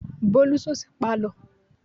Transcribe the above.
Bólú sùn sí Pálọ̀.